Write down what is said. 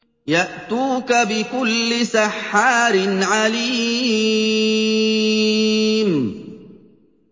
يَأْتُوكَ بِكُلِّ سَحَّارٍ عَلِيمٍ